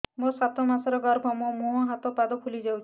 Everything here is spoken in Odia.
ମୋ ସାତ ମାସର ଗର୍ଭ ମୋ ମୁହଁ ହାତ ପାଦ ଫୁଲି ଯାଉଛି